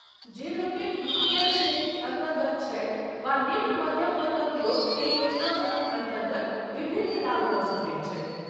जे लोकनि B. P. L. श्रेणीक अन्तर्गत छथि वा निम्न मध्यम वर्गक लोक एहि योजनासभक अन्तर्गत विभिन्न लाभ लऽ सकैत छथि।